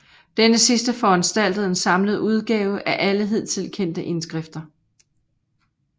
Denne sidste foranstaltede en samlet udgave af alle hidtil kendte indskrifter